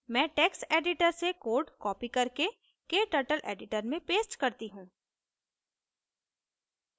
मैं text editor से code copy करके kturtle editor में paste करती हूँ